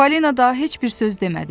Falena daha heç bir söz demədi.